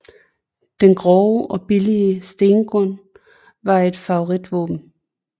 Den grove og billige Stengun var et favoritvåben